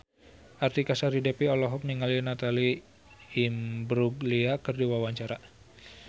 Artika Sari Devi olohok ningali Natalie Imbruglia keur diwawancara